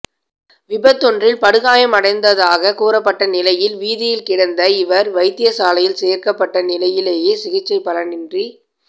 விபத்தொன்றில் படுகாயமடைந்ததாக கூறப்பட்ட நிலையில் வீதியில் கிடந்த இவர் வைத்தியசாலையில் சேர்க்கப்பட்ட நிலையிலேயே சிகிச்சை பயனின்றி